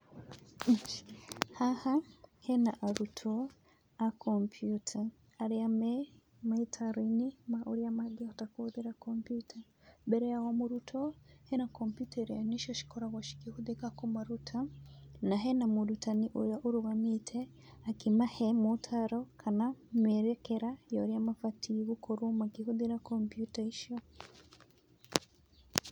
Haha hena arutwo a kampyuta arĩa meitaro-inĩ ma ũrĩa mangĩhota kũhũthĩra kampyuta. Mbere ya o mũrutwo hena kampyuta ĩrĩa nĩcio ikoragwo cikĩhũthĩka kũmaruta na hena mũrutani ũrĩa ũrũgamĩte akĩmahe motaro, kana mĩerekera ya ũrĩa mabatiĩ gũkorwo makĩhũthĩra kampyuta icio.